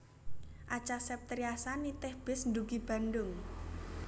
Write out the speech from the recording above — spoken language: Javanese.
Acha Septriasa nitih bis ndugi Bandung